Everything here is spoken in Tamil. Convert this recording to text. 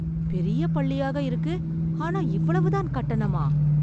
பெரிய பள்ளியாக இருக்கு, ஆனா இவ்வளவு தான் கட்டணமா!